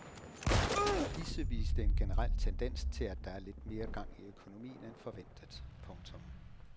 Disse viste en generel tendens til at der er lidt mere gang i økonomien end forventet. punktum